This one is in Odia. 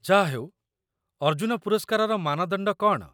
ଯାହାହେଉ, ଅର୍ଜୁନ ପୁରସ୍କାରର ମାନଦଣ୍ଡ କ'ଣ?